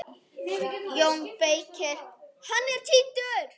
JÓN BEYKIR: Hann er týndur!